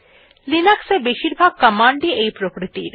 Linux এ বেশীরভাগ command ই এই প্রকৃতির